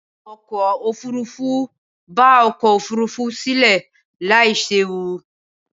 Awakọ̀ òfurufú ba ọkọ̀-òfurufú sílẹ̀ láì séwu.